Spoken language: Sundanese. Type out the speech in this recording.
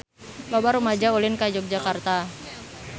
Loba rumaja ulin ka Yogyakarta